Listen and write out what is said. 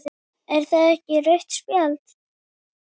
Er það ekki rautt spjald?